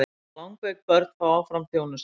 Langveik börn fá áfram þjónustu